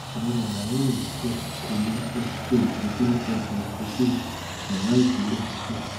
awọn ọra wọnyi um ko le um ṣe itọju nipasẹ itọju ọra ibile um